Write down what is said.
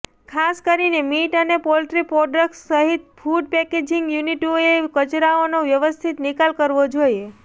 ખાસ કરીને મીટ અને પોલ્ટ્રી પ્રોડક્ટ્સ સહિત ફૂડ પેકેજિંગ યુનિટોએ કચરાનો વ્યવસ્થિત નિકાલ કરવો જોઈએ